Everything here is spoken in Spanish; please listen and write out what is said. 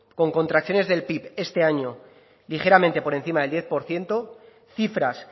con contracciones del pib este año ligeramente por encima del diez por ciento cifras